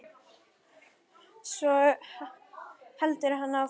Svo heldur hann áfram